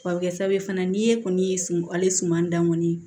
A bɛ kɛ sababu ye fana n'i ye kɔni ye ale suman dan kɔni